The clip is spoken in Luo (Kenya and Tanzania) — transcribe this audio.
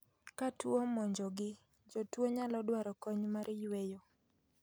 Ka tuo omonjo gi, jotuo nyalo dwaro kony mar yueyo